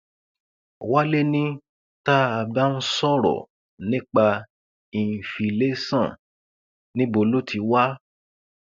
wálé ni tá a bá ń sọrọ nípa ìǹfìlàsọn níbo ló ti wá